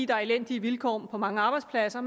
der er elendige vilkår på mange arbejdspladser